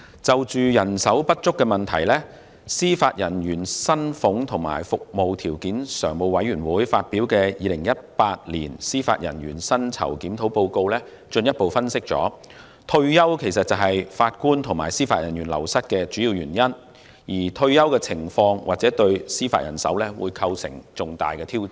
就人手不足問題，司法人員薪俸及服務條件常務委員會發表的《二零一八年司法人員薪酬檢討報告》進一步分析，退休是法官及司法人員流失的主要原因，而退休情況或對司法人手構成重大挑戰。